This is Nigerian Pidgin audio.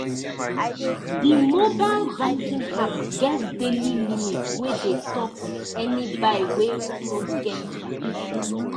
the mobile banking app get daily limit wey dey stop any buy wey no get permission.